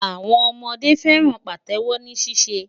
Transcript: Àwọn ọmọdé fẹ́ràn Pàtẹ́wọ́ ní ṣíṣe.